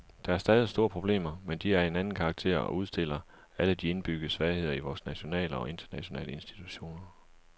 Der er stadig store problemer, men de er af en anden karakter og udstiller alle de indbyggede svagheder i vore nationale og internationale institutioner.